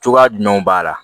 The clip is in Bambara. Cogoya jumɛnw b'a la